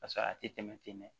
Paseke a tɛ tɛmɛ ten dɛ